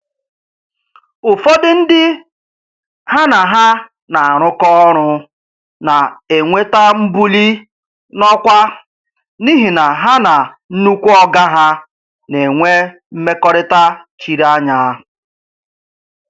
Ụfọdụ ndị ha na ha na-arụkọ ọrụ na-enweta mbuli n'ọkwa n'ihi na ha na "nnukwu oga ha" na-enwe mmekọrịta chiri anya.